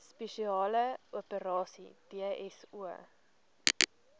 spesiale operasies dso